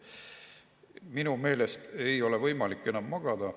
Minu meelest ei ole võimalik enam magada.